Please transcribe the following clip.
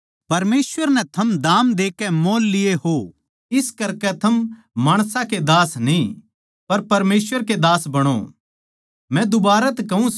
परमेसवर नै थम दाम देकै मोल लिये हो इस करकै थम माणसां के दास न्ही पर परमेसवर के दास बणो